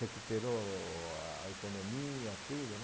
Recuperou a economia, tudo, né?